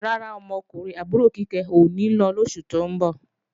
Rárá, ọmọkùnrin àbúrò Kíkẹ́ ò ní lọ lóṣù tó ń bọ̀